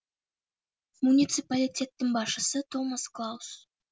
муниципалитеттің басшысы томас клаус